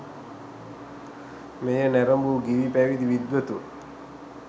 මෙය නැරඹූ ගිහි පැවිදි විද්වතුන්